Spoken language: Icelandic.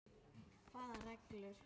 Hvaða reglur?